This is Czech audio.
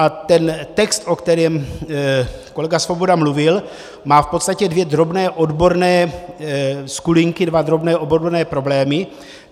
A ten text, o kterém kolega Svoboda mluvil, má v podstatě dvě drobné odborné skulinky, dva drobné odborné problémy.